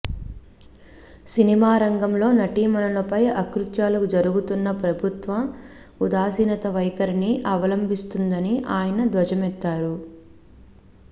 cinema రంగంలో నటీమణులపై అకృత్యాలు జరుగుతున్నా ప్రభుత్వం ఉదాసీన వైఖరిని అవలంభిస్తుందని ఆయన ధ్వజమెత్తారు